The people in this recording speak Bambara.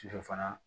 Sufɛ fana